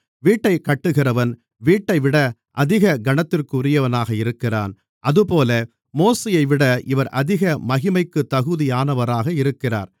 வீட்டைக் கட்டுகிறவன் வீட்டைவிட அதிக கனத்திற்குரியவனாக இருக்கிறான் அதுபோல மோசேயைவிட இவர் அதிக மகிமைக்குத் தகுதியானவராக இருக்கிறார்